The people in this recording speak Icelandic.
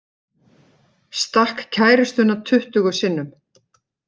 Stakk kærustuna tuttugu sinnum